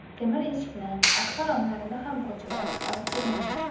Temir eshikni, akfa romlarini ham ko‘chirib, olib ketyapman.